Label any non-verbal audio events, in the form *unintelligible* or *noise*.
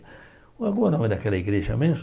*unintelligible* daquela igreja mesmo?